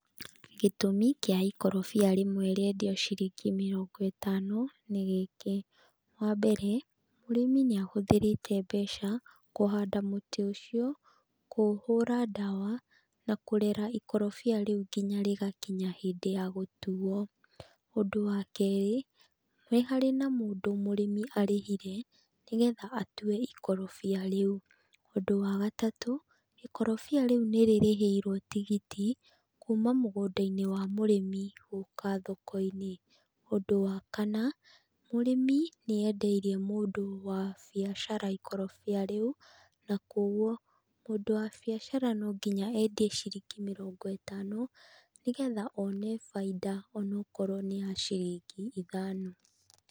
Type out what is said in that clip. Gĩtũmi kĩa ikorobia rĩmwe rĩendio ciringi mĩrongo ĩtano, nĩ gĩkĩ, wa mbere, mũrĩmi nĩ ahũthĩrĩte mbeca kũhanda mũtĩ ũcio, kũũhũra ndawa na kũrera ikorobia rĩu nginya rĩgakinya hĩndĩ ya gũtuo. Ũndũ wa kerĩ, nĩ harĩ na mũndũ mũrĩmi arĩhire, nĩgetha atue ikorobia rĩu. Ũndũ wa gatatũ, ikorobia rĩu nĩrĩrĩhĩirwo tigiti, kuma mũgũnda-inĩ wa mũrĩmi, gũka thoko-inĩ. Ũndũ wa kana, mũrĩmi nĩendeirie mũndũ wa biacara ikorobia rĩu, na kwa ũguo, mũndũ wa biacara nonginya endie ciringi mĩrongo ĩtano, nĩgetha one bainda onakorwo nĩya ciringi ithano.